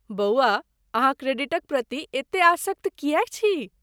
बौआ, अहाँ क्रेडिटक प्रति एते आसक्त किएक छी?